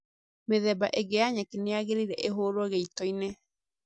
Mĩthemba ĩngĩ ya nyeki nĩyagĩrĩire ĩhurwo gĩitoinĩ